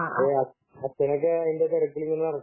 ആഹ് അച്ഛനൊക്കെ അതിന്റെ തിരക്കിൽ ഇങ്ങനെ നടക്കുകയാണ്